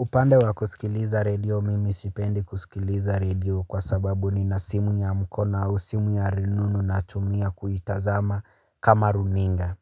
Upande wa kusikiliza redio, mimi sipendi kusikiliza redio kwa sababu ni nasimu ya mkono au simu ya rununu natumia kuitazama kama runinga.